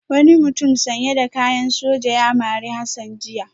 Wani mutum sanye da kayan soja ya mari Hassan jiya